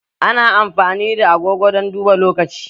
Ana amfani da agogo don duba lokaci